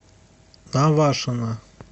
навашино